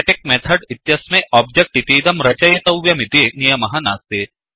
static method इत्यस्मै object इतीदं रचयितव्यमिति नियमः नास्ति